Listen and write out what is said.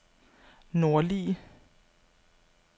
nordlige